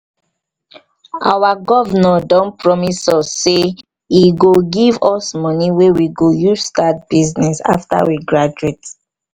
our governor don promise us say he go he go give us money wey we go use start business after we graduate